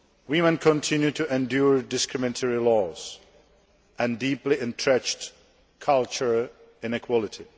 Women continue to endure discriminatory laws and deeply entrenched cultural inequality.